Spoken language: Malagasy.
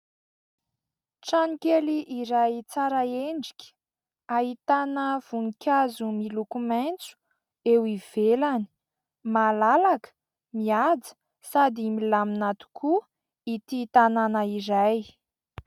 Trano kely iray tsara endrika : ahitana voninkazo miloko maitso eo ivelany, malalaka, mihaja sady milamina tokoa ity tanàna iray.